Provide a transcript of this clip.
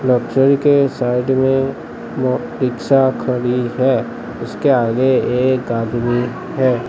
के साइड में म रिक्शा खड़ी है उसके आगे एक आदमी है।